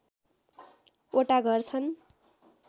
वटा घर छन्